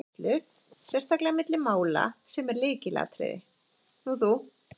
Þar kemur fram að það er tíðni sykurneyslu, sérstaklega milli mála, sem er lykilatriði.